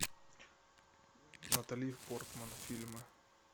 натали портман фильмы